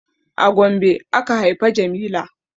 A Gombe aka haifa jamila